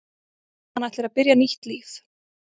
Hann ætlar að byrja nýtt líf.